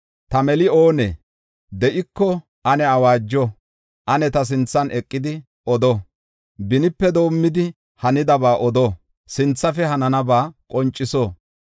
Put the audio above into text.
Ta meli oonee? De7iko ane awaajo; ane ta sinthan eqidi odo. Benipe doomidi, hanidaba odo; sinthafe hananaba qonciso.